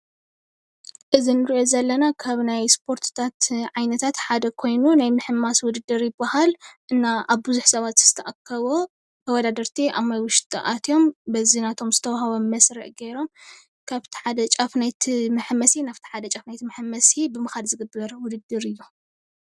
እዚ እንሪኦ ዘለና ካብ ናይ እስፖርቲታት ዓይነታት ሓደ ኮይኑ ናይ ምሕማስ ውድድር ይባሃል፣ እና ኣብ ብዙሕ ሰባት ዝተኣከቦ ተወዳደርቲ ኣብ ውሽጢ ኣትዮም በዚ ናቶም ብዝተወሃቦም መስርዕ ገይሮም ካብቲ ሓደ ጫፍ ናይቲ መሐመሲ ናብቲ ሓደ ጫፍ ናይቲ መሐመሲ ብምኳድ ዝግበር ውድድር እዩ፡፡